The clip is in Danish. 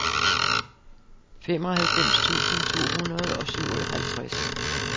femoghalvfems tusind to hundrede og syvoghalvtreds